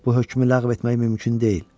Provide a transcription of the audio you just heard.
Bu hökmü ləğv etmək mümkün deyil.